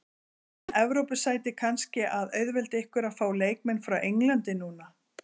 Er Evrópusætið kannski að auðvelda ykkur að fá leikmenn frá Englandi núna?